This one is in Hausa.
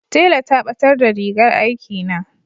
tela ta batar da rigar aiki na